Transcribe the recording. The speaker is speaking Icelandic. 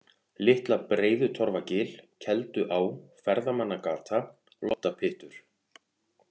Litla-Breiðutorfugil, Kelduá, Ferðamannagata, Loddapyttur